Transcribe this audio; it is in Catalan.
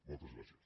moltes gràcies